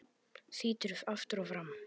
Þýtur aftur og fram.